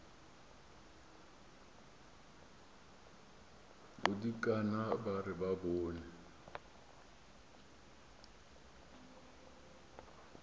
bodikana ba re ba bone